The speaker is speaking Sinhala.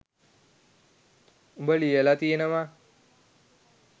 උඹ ලියලා තියෙනවා.